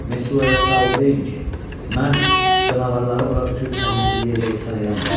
Mesuaya sağ ol deyin ki, mən canavarları bura töküb kəndinizi yerlə yeksan eləmirəm.